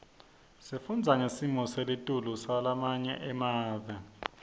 sifundza ngesimo selitulu salamanye emave